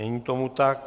Není tomu tak.